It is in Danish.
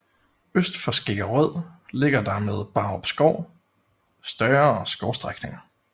Øst for Skæggerød ligger der med Brarup Skov større skovstrækninger